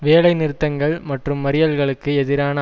வேலைநிறுத்தங்கள் மற்றும் மறியல்களுக்கு எதிரான